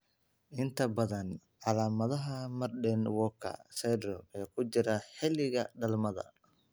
Inta badan calaamadaha Marden Walker syndrome ee ku jira xilliga dhalmada.